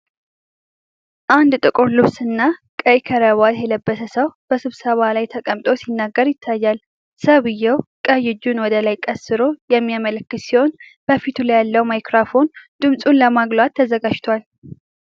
አንድ ጥቁር ልብስና ቀይ ክራባት የለበሰ ሰው በስብሰባ ላይ ተቀምጦ ሲናገር ይታያል። ሰውየው ቀኝ እጁን ወደ ላይ ቀስሮ የሚያመላክት ሲሆን፣ በፊቱ ያለው ማይክሮፎን ድምፁን ለማጉላት ተዘጋጅቷል።